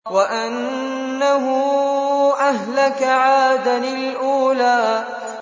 وَأَنَّهُ أَهْلَكَ عَادًا الْأُولَىٰ